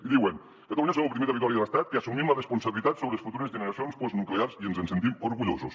i diuen catalunya som el primer territori de l’estat que assumim la responsabilitat sobre les futures generacions postnuclears i ens en sentim orgullosos